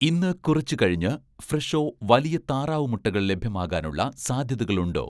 ഇന്ന് കുറച്ചു കഴിഞ്ഞ് 'ഫ്രെഷോ' വലിയ താറാവ് മുട്ടകൾ ലഭ്യമാകാനുള്ള സാധ്യതകളുണ്ടോ?